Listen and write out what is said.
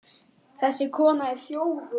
Þessi kona er þjófur.